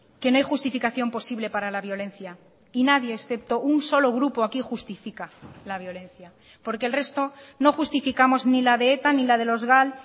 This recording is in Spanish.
que no hay justificación posible para la violencia y nadie excepto un solo grupo aquí justifica la violencia porque el resto no justificamos ni la de eta ni la de los gal